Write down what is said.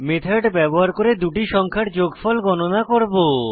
method ব্যবহার করে দুটি সংখ্যার যোগফল গণনা করব